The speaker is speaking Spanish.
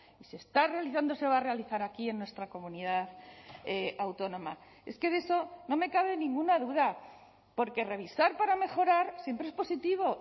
y se está realizando se va a realizar aquí en nuestra comunidad autónoma es que de eso no me cabe ninguna duda porque revisar para mejorar siempre es positivo